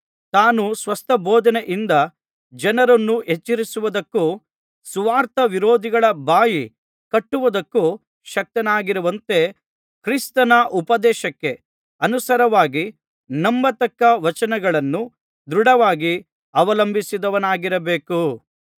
ತಾನು ಸ್ವಸ್ಥಬೋಧನೆಯಿಂದ ಜನರನ್ನು ಎಚ್ಚರಿಸುವುದಕ್ಕೂ ಸುವಾರ್ತಾ ವಿರೋಧಿಗಳ ಬಾಯಿ ಕಟ್ಟುವುದಕ್ಕೂ ಶಕ್ತನಾಗಿರುವಂತೆ ಕ್ರಿಸ್ತನ ಉಪದೇಶಕ್ಕೆ ಅನುಸಾರವಾಗಿ ನಂಬತಕ್ಕ ವಚನಗಳನ್ನು ದೃಢವಾಗಿ ಅವಲಂಬಿಸಿದವನಾಗಿರಬೇಕು